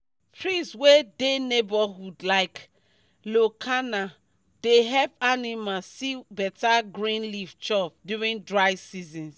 trees wey dey neighborhood like leucaena dey help animals see better green leave chop during dry seasons